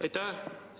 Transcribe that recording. Aitäh!